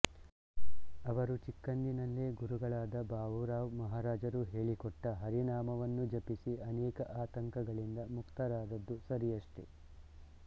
ಅವರು ಚಿಕ್ಕಂದಿನಲ್ಲೆ ಗುರುಗಳಾದ ಬಾವೂರಾವ್ ಮಹಾರಾಜರು ಹೇಳಿಕೊಟ್ಟ ಹರಿನಾಮವನ್ನು ಜಪಿಸಿ ಅನೇಕ ಆತಂಕಗಳಿಂದ ಮುಕ್ತರಾದದ್ದು ಸರಿಯಷ್ಟೆ